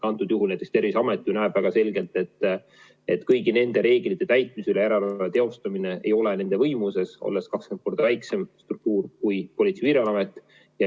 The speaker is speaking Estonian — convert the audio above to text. Antud juhul näiteks Terviseamet näeb väga selgelt, et kõigi nende reeglite täitmise üle järelevalve teostamine ei ole nende võimuses, kuna nad on 20 korda väiksem struktuur kui Politsei- ja Piirivalveamet.